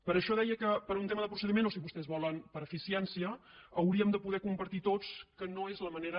per això deia que per un tema de procediment o si vostès volen per eficiència hauríem de poder compartir tots que no és la manera